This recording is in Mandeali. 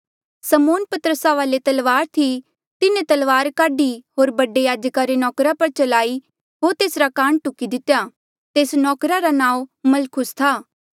समौन पतरसा वाले तलवार थी तिन्हें तलवार काढी होर बडे याजका रे नौकरा पर चलाई होर तेसरा कान टुकी दितेया तेस नौकरा रा नांऊँ मलखुस था